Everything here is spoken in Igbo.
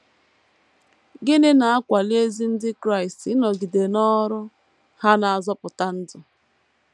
Gịnị na - akwali ezi ndị Kraịst ịnọgide n’ọrụ ha na - azọpụta ndụ?